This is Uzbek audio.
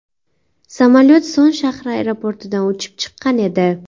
Samolyot Son shahri aeroportidan uchib chiqqan edi.